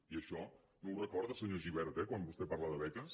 i això no ho recorda senyor gibert eh quan vostè parla de beques